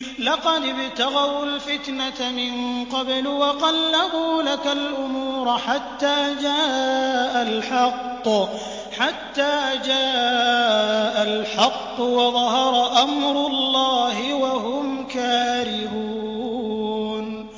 لَقَدِ ابْتَغَوُا الْفِتْنَةَ مِن قَبْلُ وَقَلَّبُوا لَكَ الْأُمُورَ حَتَّىٰ جَاءَ الْحَقُّ وَظَهَرَ أَمْرُ اللَّهِ وَهُمْ كَارِهُونَ